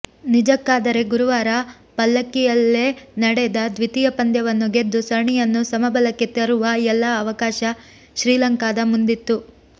ನಿಜಕ್ಕಾದರೆ ಗುರುವಾರ ಪಲ್ಲೆಕಿಲೆಯಲ್ಲೇ ನಡೆದ ದ್ವಿತೀಯ ಪಂದ್ಯವನ್ನು ಗೆದ್ದು ಸರಣಿಯನ್ನು ಸಮಬಲಕ್ಕೆ ತರುವ ಎಲ್ಲ ಅವಕಾಶ ಶ್ರೀಲಂಕಾದ ಮುಂದಿತ್ತು